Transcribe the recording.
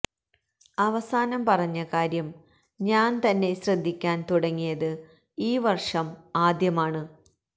അവസാനം പറഞ്ഞ കാര്യം ഞാന് തന്നെ ശ്രദ്ധിക്കാന് തുടങ്ങിയത് ഈ വര്ഷം ആദ്യമാണ്